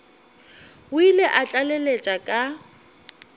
o ile a tlaleletša ka